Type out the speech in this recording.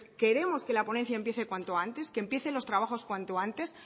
queremos que la ponencia empiece cuanto antes que empiecen los trabajos cuanto antes